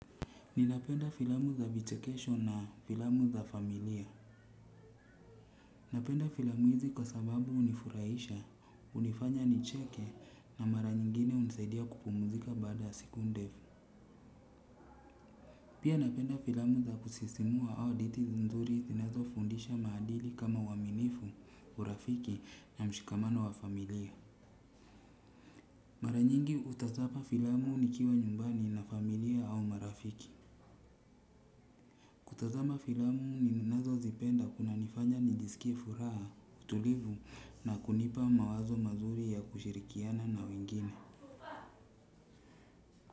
Ninapenda filamu za vichekesho na filamu za familia. Napenda filamu hizi kwa sababu hunifurahisha, hunifanya nicheke na mara nyingine hunisaidia kupumuzika baada siku ndefu. Pia napenda filamu za kusisimua au hadithi nzuri zinazo fundisha maadili kama uaminifu, urafiki na mshikamano wa familia. Mara nyingi hutazama filamu nikiwa nyumbani na familia au marafiki. Kutazama filamu ninazo zipenda kuna nifanya nijisikie furaha, utulivu na kunipa mawazo mazuri ya kushirikiana na wengine.